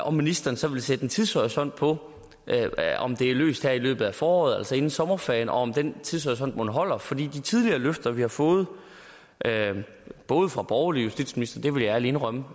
om ministeren så vil sætte en tidshorisont på om det er løst her i løbet af foråret altså inden sommerferien og om den tidshorisont mon holder for de tidligere løfter vi har fået både fra borgerlige justitsministre det vil jeg ærligt indrømme